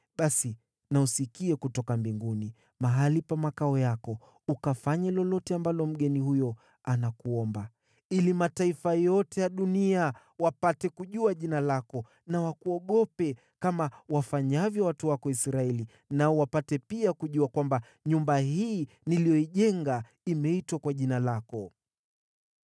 basi na usikie kutoka mbinguni, mahali pa makao yako, ukafanye lolote ambalo mgeni huyo anakuomba, ili mataifa yote ya dunia wapate kujua jina lako na wakuogope kama wafanyavyo watu wako Israeli nao wapate pia kujua kwamba nyumba hii niliyoijenga imeitwa kwa Jina lako.